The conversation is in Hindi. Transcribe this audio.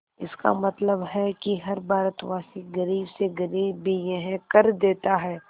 इसका मतलब है कि हर भारतवासी गरीब से गरीब भी यह कर देता है